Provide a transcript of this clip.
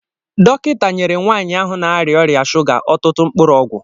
Dọkịta nyere nwaanyi ahụ n'aria ọrịa shuga ọtụtụ mkpụrụ ọgwụ.